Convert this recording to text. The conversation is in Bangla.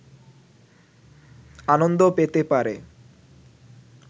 আনন্দ পেতে পারে